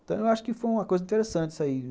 Então, eu acho que foi uma coisa interessante isso aí.